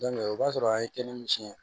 o b'a sɔrɔ a ye kɛnɛ min tiɲɛ